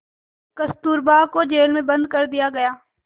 कस्तूरबा को जेल में बंद कर दिया गया